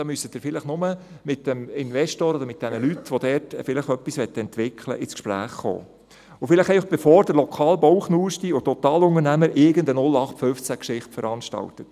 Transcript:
dafür müssten Sie vielleicht nur mit dem Investor oder den Leuten, die da etwas entwickeln möchten, ins Gespräch kommen, und dies bevor vielleicht der lokale «Bauchnuschti» oder irgendein Totalunternehmer irgendeine Nullachtfünfzehn-Geschichte veranstaltet.